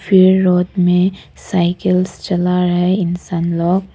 फिर रोड में साइकिल्स चल रहे इंसान लोग।